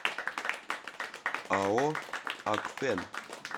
ао акфен